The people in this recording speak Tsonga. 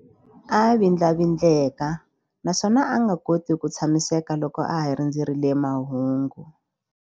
A vindlavindleka naswona a nga koti ku tshamiseka loko a ha rindzerile mahungu.